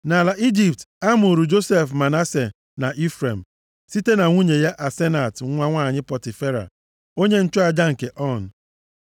Nʼala Ijipt, a mụụrụ Josef Manase na Ifrem, site na nwunye ya Asenat nwa nwanyị Pọtifera, onye nchụaja nke On.